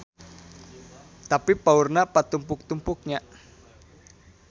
Tapi paurna patumpuk-tumpuk nya.